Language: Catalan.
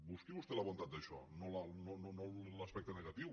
busqui vostè la bondat d’això no l’aspecte negatiu